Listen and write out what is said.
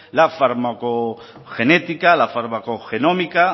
la farmacogenética la farmacogenómica